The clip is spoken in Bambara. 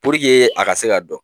a ka se ka dɔn